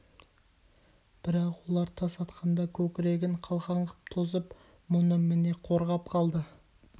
бірақ олар тас атқанда көкірегін қалқан ғып тосып мұны міне қорғап қалды